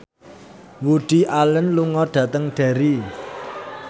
Woody Allen lunga dhateng Derry